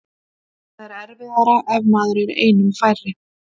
Það er erfiðara ef maður er einum færri.